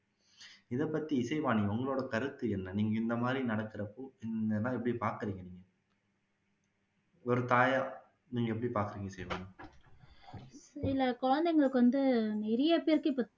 இதை பத்தி இசைவாணி உங்களோட கருத்து என்ன